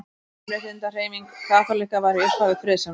Mannréttindahreyfing kaþólikka var í upphafi friðsamleg.